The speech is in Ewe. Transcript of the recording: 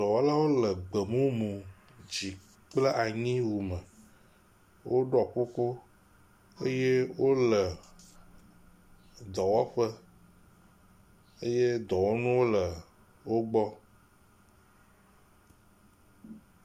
Dɔwɔlawo le gbe mumu dzi kple anyi wu me. Woɖɔ kuku eye wole dɔwɔƒe eye dɔwɔnuwo le wo gbɔ.